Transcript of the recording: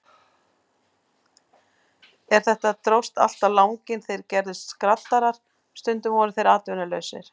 En þetta dróst allt á langinn, þeir gerðust skraddarar, stundum voru þeir atvinnulausir.